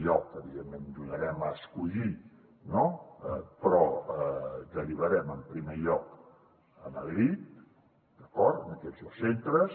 evidentment donarem a escollir no però derivarem en primer lloc a madrid d’acord a aquests dos centres